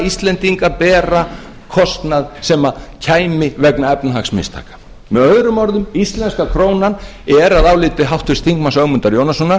íslendinga bera kostnað sem kæmi vegna efnahagsmistaka með öðrum orðum íslenska krónan er að áliti háttvirtur þingmaður ögmundar jónassonar